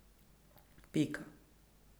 Pika.